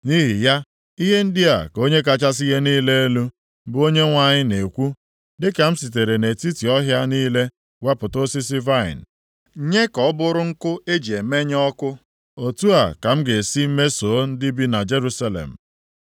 “Nʼihi ya, ihe ndị a ka Onye kachasị ihe niile elu, bụ Onyenwe anyị na-ekwu, dịka m sitere nʼetiti ọhịa niile wepụta osisi vaịnị nye ka ọ bụrụ nkụ e ji emenye ọkụ, otu a ka m ga-esi mesoo ndị bi na Jerusalem.